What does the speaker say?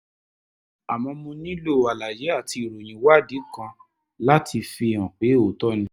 àmọ́ mo nílò àlàyé àti ìròyìn ìwádìí kan láti fi hàn pé òótọ́ ni